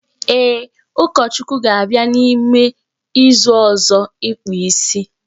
Ee, Ụkọchukwu ga-abịa n'ime izu ọzọ ịkpụ isi